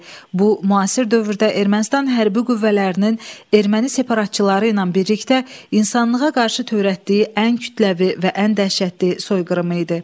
Bu müasir dövrdə Ermənistan hərbi qüvvələrinin erməni separatçıları ilə birlikdə insanlığa qarşı törətdiyi ən kütləvi və ən dəhşətli soyqırımı idi.